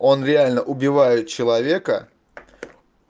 он реально убивают человека